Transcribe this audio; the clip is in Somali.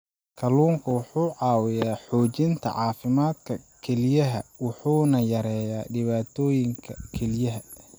Kalluunku wuxuu caawiyaa xoojinta caafimaadka kelyaha wuxuuna yareeyaa dhibaatooyinka kelyaha.